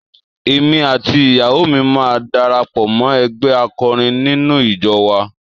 Èmi àti ìyàwó mi máa darapọ̀ mọ́ ẹgbẹ́ akọrin nínú ìjọ wa.